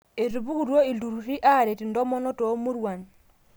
Etupukutuo iltururi aaret intomonok toomuruan.